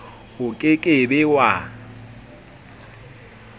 o ke ke be wa